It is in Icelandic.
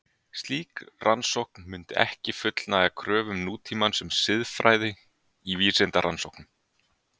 Slík rannsókn mundi ekki fullnægja kröfum nútímans um siðfræði í vísindarannsóknum.